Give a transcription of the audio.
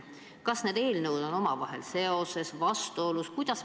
Kas need eelnõud on omavahel seoses, on nad vastuolus?